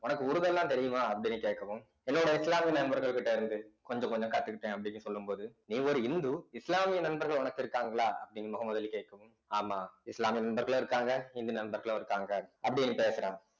உனக்கு உருது எல்லாம் தெரியுமா அப்படின்னு கேட்கவும் என்னோட இஸ்லாமிய நண்பர்கள்கிட்ட இருந்து கொஞ்சம் கொஞ்சம் கத்துக்கிட்டேன் அப்படின்னு சொல்லும் போது நீ ஒரு இந்து இஸ்லாமிய நண்பர்கள் உனக்கு இருக்காங்களா அப்படின்னு முகமது அலி கேட்கவும் ஆமா இஸ்லாமிய நண்பர்களும் இருக்காங்க இந்து நண்பர்களும் இருக்காங்க அப்படின்னு பேசுறா